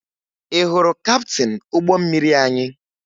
Ị hụrụ kaptịn ụgbọ mmiri anyị?